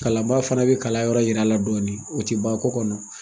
Kalan baa fana bɛ kalayɔrɔ yira la dɔɔni o tɛ ban ko kɔnɔ.